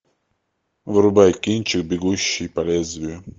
врубай кинчик бегущий по лезвию